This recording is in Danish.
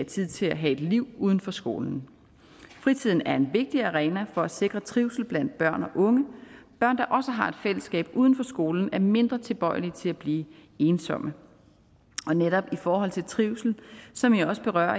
tid til at have et liv uden for skolen fritiden er en vigtig arena for at sikre trivsel blandt børn og unge børn der også har et fællesskab uden for skolen er mindre tilbøjelige til at blive ensomme netop i forhold til trivsel som jo også berører